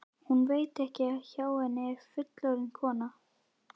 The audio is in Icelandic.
Hún veit ekki að hjá henni er fullorðin kona.